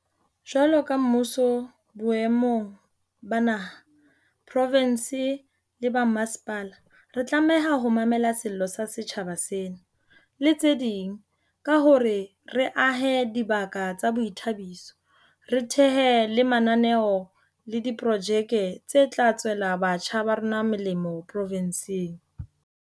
Jwalo ka mmuso boemong ba naha, profinse le ba mmasepala, re tlameha ho mamela sello sa setjhaba sena, le tse ding, ka hore re ahe dibaka tsa boithabiso, re thehe le mananeo le diprojeke tse tla tswela batjha ba rona molemo profinseng.